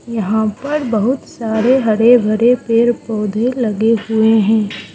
यहां ऊपर बहुत सारे हरे भरे पेड़ पौधे लगे हुए हैं।